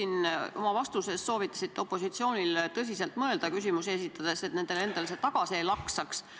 Te oma vastuses soovitasite opositsioonil tõsiselt mõelda küsimust esitades, et see nendele endale tagasi ei laksaks.